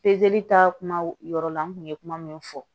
ta kuma yɔrɔ la n kun ye kuma min fɔ